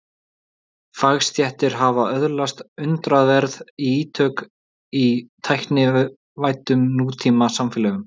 Fagstéttir hafa öðlast undraverð ítök í tæknivæddum nútímasamfélögum.